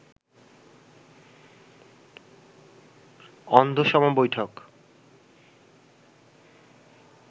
অন্ধসম বৈঠত